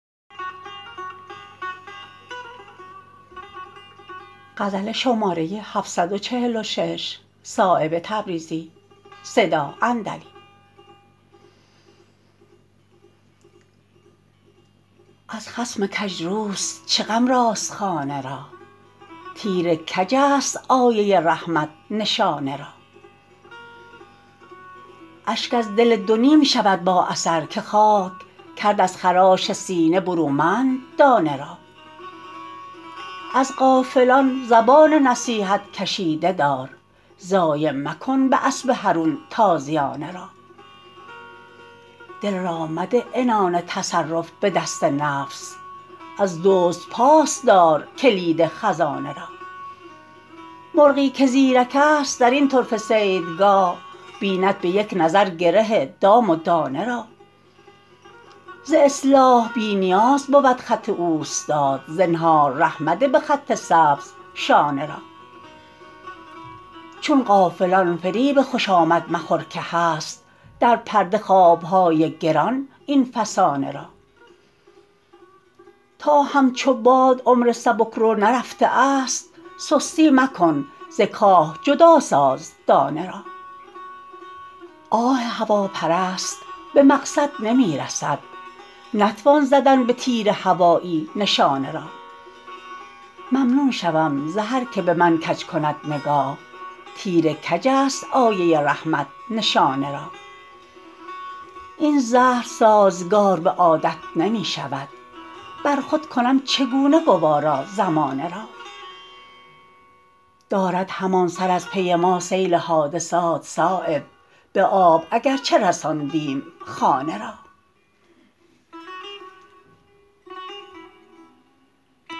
از خصم کجروست چه غم راست خانه را تیر کج است آیه رحمت نشانه را اشک از دل دو نیم شود با اثر که خاک کرد از خراش سینه برومند دانه را از غافلان زبان نصیحت کشیده دار ضایع مکن به اسب حرون تازیانه را دل را مده عنان تصرف به دست نفس از دزد پاس دار کلید خزانه را مرغی که زیرک است درین طرفه صیدگاه بیند به یک نظر گره دام و دانه را ز اصلاح بی نیاز بود خط اوستاد زنهار ره مده به خط سبز شانه را چون غافلان فریب خوشامد مخور که هست در پرده خوابهای گران این فسانه را تا همچو باد عمر سبکرو نرفته است سستی مکن ز کاه جدا ساز دانه را آه هواپرست به مقصد نمی رسد نتوان زدن به تیر هوایی نشانه را ممنون شوم ز هر که به من کج کند نگاه تیر کج است آیه رحمت نشانه را این زهر سازگار به عادت نمی شود برخود کنم چگونه گوارا زمانه را دارد همان سر از پی ما سیل حادثات صایب به آب اگر چه رساندیم خانه را